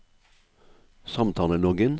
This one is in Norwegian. samtaleloggen